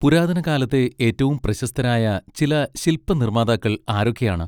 പുരാതന കാലത്തെ ഏറ്റവും പ്രശസ്തരായ ചില ശില്പനിർമാതാക്കൾ ആരൊക്കെയാണ്?